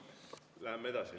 Läheme edasi.